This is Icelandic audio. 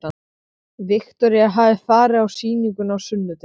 Viktoría hafði farið á sýninguna á sunnudegi.